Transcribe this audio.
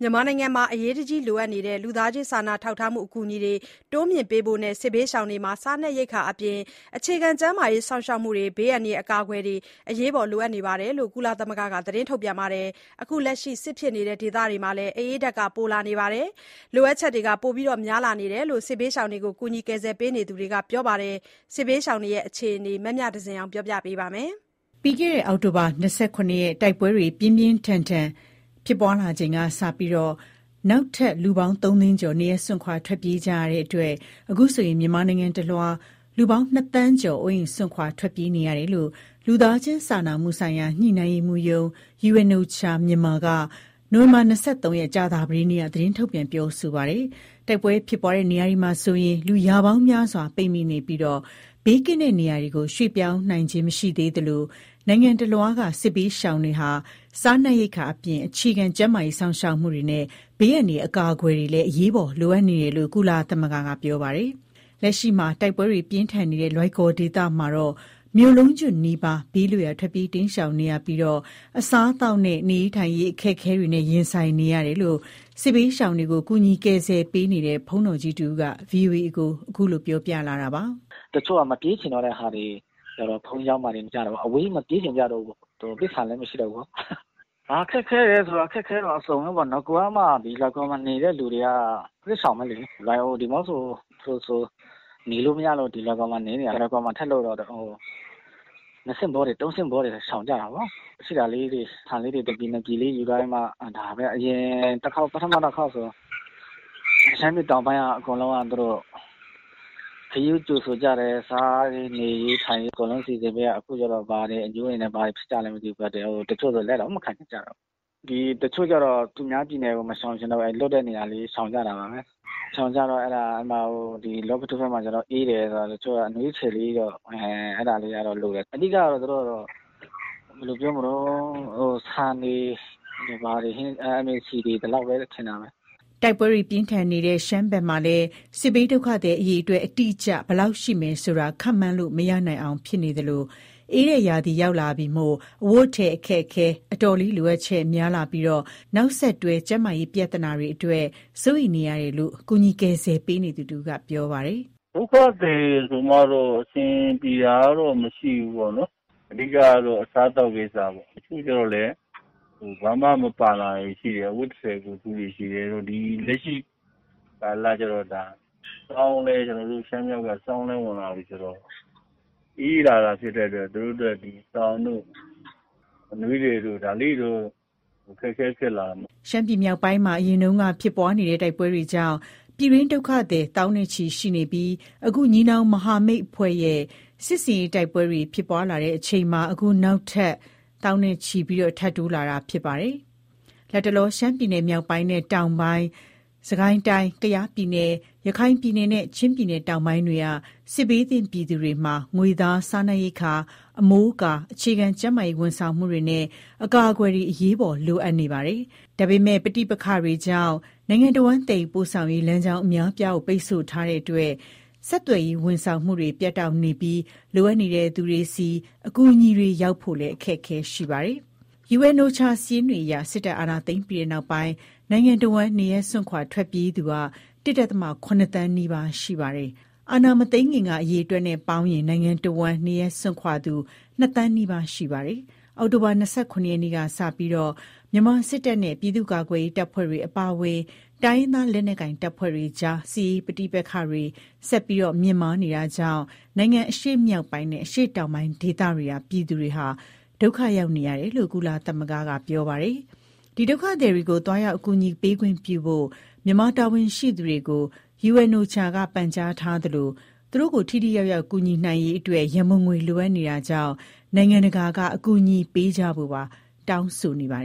မြန်မာနိုင်ငံမှာ အရေးတကြီး လိုအပ်နေတဲ့ လူသားချင်းစာနာထောက်ထားမှု အကူအညီ တွေ တိုးမြှင့်ပေးအပ်ကြဖို့ နဲ့ စစ်ဘေးရှောင်တွေ မှာ စားနပ်ရိက္ခာအပြင် အခြေခံ ကျန်းမာရေးစောင့်ရှောက်မှုတွေနဲ့ ဘေးအန္တရာယ် အကာအကွယ်တွေ အရေးပေါ်လိုအပ်နေတယ်လို့ ကုလသမဂ္ဂက သတင်းထုတ်ပြန်ပါတယ်။ လက်ရှိ စစ်ဖြစ်နေတဲ့ ဒေသတွေမှာ အအေးဓါတ်က ပိုလာတာကြောင့် လိုအပ်ချက်တွေ ပိုများလာတယ်လို့ စစ်ဘေးရှောင်တွေကို ကူညီကယ်ဆယ် ပေးနေသူ တွေကပြောပါတယ်။ စစ်ဘေးရှောင်တွေရဲ့ အခြေနေ သတင်းပေးပို့ချက်ကို အခြေခံပြီး မမြသဇင်အောင်က စုစည်းတင်ပြ သွားမှာပါ။ အောက်တိုဘာ ၂၆ ရက် တိုက်ပွဲများ ပြင်းပြင်းထန်ထန် ထပ်မံဖြစ်ပွါးလာချိန်ကစပြီး နောက်ထပ် လူပေါင်း ၃ သိန်း ကျော် နေရပ်စွန့် ခွာထွက်ပြေး ကြရတဲ့အတွက် အခုဆို မြန်မာနိုင်ငံ တလွှားမှာ လူပေါင်း ၂ သန်းကျော် အိုးအိမ်စွန့်ခွါ ထွက်ပြေးနေရတယ်လို့ လူသားချင်းစာနာမှုဆိုင်ရာ ညှိနှိုင်းရေးမှူးရုံး (UNOCHA-Myanmar ) က နိုဝင်ဘာ ၂၃ ရက် ကြာသပတေးနေ့က သတင်းထုတ်ပြန်ပြောဆိုပါတယ်။ တိုက်ပွဲဖြစ်ပွားရာနေရာတွေမှာဆို လူရာပေါင်းများစွာ ပိတ်မိနေတာ ဖြစ်ပြီး ဘေးကင်းသော နေရာများသို့ ရွှေ့ပြောင်းနိုင်ခြင်း မရှိသေးသလို နိုင်ငံ တလွှားက စစ်ဘေးရှောင်တွေ မှာ စားနပ်ရိက္ခာ အပြင် အခြေခံကျန်းမာရေး စောင့်ရှောက်မှု တွေနဲ့ ဘေးအန္တရာယ် အကာအကွယ်တွေလည်း အရေးပေါ်လိုအပ်နေတယ်လို့ ကုလသမဂ္ဂ က ပြောပါတယ်။ လက်ရှိမှာ တိုက်ပွဲတွေပြင်းထန်နေတဲ့ လွိုင်ကော်ဒေသမှာတော့ မြို့လုံးကျွတ်နီးပါး ဘေးလွတ်ရာကို ထွက်ပြေး တိမ်းရှောင်နေရတာ ဖြစ်ပြီး အစားအသောက်နဲ့ နေထိုင်ဖို့ အခက်အခဲတွေနဲ့ရင်ဆိုင် နေရတယ်လို့ စစ်ဘေး ရှောင်တွေကို ကူညီကယ်ဆယ်ပေးနေတဲ့ ဘုန်းတော်ကြီးတဦးက ဗွီအိုအေကို အခုလိုပြောပြလာတာပါ။ "တချို့ကျတော့မပြေးချင်ကြတော့ဘူး။ ဘုန်းကြီးကျောင်းမှာဘဲနေကြတာပေါ့ အဝေးကြီးမပြေးချင်ကြ တော့ဘူး။ ပိုက်ဆံမရှိကြတော့ဘူးလေ။ ဘာခက်ခဲလဲဆို ခက်ခဲတာအစုံဘဲပေါ့နော်. နဂိုထဲက လွိုင်ကော် နေသူတွေကစစ်ရှောင်ဘဲလေ။ ဒီမောဆိုးဖရူးဆိုမှာ တိုက်ပွဲတွေဖြစ်လို့ ဒီဘက်ရှောင်တာ ဒီဘက်မှာပါ ဖြစ်တော့ ၂ဆင့်ပွား ၃ဆင့်ပွားတွေဖြစ်ကုန်တာပေါ့။ ရှိတဲ့ဆန် တပြည် ၂ပြည်ယူ သွားကြပေါ့။ အရင် တခေါက်က ရှမ်းပြည်တောင်ပိုင်းရှောင်တယ်။ ခရီးဦးကြိုဆိုကြပေါ့။ စားရေးနေရေး အကုန်စီစဉ်ပေး ကြတယ်။ ခုကျ ဘာအငြိုးတွေဖြစ်လဲမသိ တချို့ဆို လက်မခံချင်ကြဘူး။ တချို့ကျ သူများပြည်နယ် မရှောင်ဘဲ လောပိတဘက် ရှောင်တယ်။ အဲဘက် အေးတယ်ဆိုတော့ အနွေးထည် တွေလိုတယ်။ ဘာတွေ လိုလဲဆိုတော့ အဓိကကတော့ ဆန်တွေဘာတွေလိုအပ်တာပေါ့ " တိုက်ပွဲတွေပြင်းထန်နေတဲ့ ရှမ်းဘက်မှာလည်း စစ်ဘေးဒုက္ခသည် အရေအတွက် အတိအကျ ဘယ်လောက်ရှိ မယ်ဆိုတာကတော့ ခန့်မှန်းလို့ မရနိုင်အောင်ဖြစ်နေရသလို အေးတဲ့ရာသီ ရောက်လာတာ မို့ အဝတ်အထည်အခက်အခဲ အတော်လေး လိုအပ်ချက်များလာသလို နောက်ဆက်တွဲ ကျန်းမာရေး ပြဿနာတွေ အတွက်လည်းစိုးရိမ်နေရတယ်လို့ ကူညီကယ်ဆယ် ပေးနေသူ တဦးကပြောပါတယ်။ "ဒုက္ခသည်ဆိုမှတော့ အဆင်ပြေတာတော့ မရှိဘူးပေါ့ဗျာ။ အဓိကကတော့ အစားအသောက်ပေါ့။ တချို့ကျတော့လည်း ဘာမှမပါလာဘူး။. အဝတ်တထည်ကိုယ်တခု ရယ်ပေါ့။ ကျနော်တို့ရှမ်းမြောက်က ဆောင်း လဲဝင်လာပြီ ဆိုတော့ အေးလာတာဖြစ်လို့ သူတို့အတွက်စောင်တို့ အနွေးထည်တို့ ဘာတို့တော့ ဒါလေးတွေတော့ အခက်အခဲဖြစ်လာတယ်။" ရှမ်းပြည်မြောက်ပိုင်းမှာ အရင်ကတည်းက ဖြစ်ပွါးနေတဲ့ တိုက်ပွဲတွေကြောင့် ပြည်တွင်းဒုက္ခသည် သောင်းချီရှိနေတာ ဖြစ်ပြီး အခု ညီနောင်မဟာမိတ်အဖွဲ့ရဲ့ စစ်ဆင်ရေးတိုက်ပွဲတွေ ဖြစ်ပွါးလာချိန်မှာ အခုလို နောက်ထပ် သောင်းနဲ့ချီ ထပ်တိုး လာတာဖြစ်ပါတယ်။ လတ်တလော ရှမ်းပြည်နယ်မြောက်ပိုင်းနဲ့ တောင်ပိုင်း၊ စစ်ကိုင်းတိုင်း၊၊ ကယားပြည်နယ်၊ ရခိုင်ပြည် နယ်နဲ့ ချင်းပြည်နယ်တောင်ပိုင်းတွေက စစ်ဘေးသင့်ပြည်သူတွေမှာ ငွေသား၊ စားနပ်ရိက္ခာ၊ အမိုးအကာ၊ အခြေခံ ကျန်းမာရေး ဝန်ဆောင်မှုများနှင့် အကာအကွယ်တွေ အရေးပေါ် လိုအပ်နေ တာ ဖြစ်ပါတယ်။ ဒါပေမယ့် ပဋိပက္ခကြောင့် နိုင်ငံတစ်ဝှမ်း သယ်ယူပို့ဆောင်ရေး လမ်းကြောင်း အများအပြား ကို ပိတ်ဆို့ထား တာမို့ ဆက်သွယ်ရေး ဝန်ဆောင်မှုတွေ ပြတ်တောက် နေပြီး လိုအပ်သူတွေဆီ အကူအညီတွေ ရောက်ဖို့ အခက်ခဲရှိနေတာပါ။ UNOCHA ရဲ့ စာရင်းတွေအရ စစ်တပ် အာဏာသိမ်းပြီးနောက်ပိုင်း နိုင်ငံတစ်ဝန်းမှာ နေရပ်စွန့်ခွာ ထွက်ပြေးနေရသူ ၁.၇ သန်းနီးပါးရှိနေပါတယ်။ အာဏာမသိမ်းခင်က အရေအတွက်နဲ့ပေါင်းရင် နိုင်ငံ တစ်ဝန်းမှာ နေရပ်စွန့်ခွာသူက နှစ်သန်းနီးပါး ဖြစ်ပါတယ်။ အောက်တိုဘာလ ၂၇ ရက် နေ့က စတင်ပြီး မြန်မာစစ်တပ်နဲ့ ပြည်သူ့ကာကွယ်ရေး တပ်ဖွဲ့တွေ အပါအဝင် တိုင်းရင်းသား လက်နက်ကိုင် တပ်ဖွဲ့တွေ အကြား စစ်ရေးပဋိပက္ခတွေ ဆက်လက်မြင့်တက် နေတာကြောင့် နိုင်ငံအရှေ့မြောက်ပိုင်းနဲ့ အရှေ့တောင်ပိုင်း ဒေသတွေကပြည်သူတွေ ဒုက္ခ ရောက်နေရ တယ်လို့ ကုလသမဂ္ဂက ပြောပါတယ်။ ဒီ ဒုက္ခသည်တွေကို သွားရောက် အကူအညီပေးခွင့် ပြုဖို့ မြန်မာတာဝန်ရှိသူတွေကို UNOCHA က ပန်ကြားထားသလို သူတို့ကို ထိထိရောက်ရောက် ကူညီနိုင်ရေးအတွက် ရံပုံငွေလိုအပ်နေတာကြောင့် နိုင်ငံတကာက အကူညီပေးကြဖို့ပါ တောင်းဆိုနေတာပါ